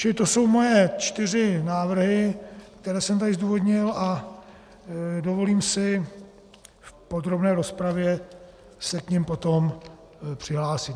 Čili to jsou moje čtyři návrhy, které jsem tady zdůvodnil, a dovolím si v podrobné rozpravě se k nim potom přihlásit.